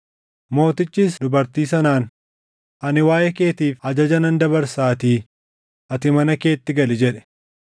Mootichis dubartii sanaan, “Ani waaʼee keetiif ajaja nan dabarsaatii ati mana keetti gali” jedhe.